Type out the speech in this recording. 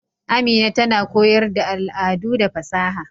Amina tana koyar da al'adu da fasaha.